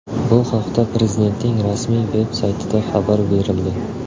Bu haqda Prezidentning rasmiy-veb saytida xabar berildi.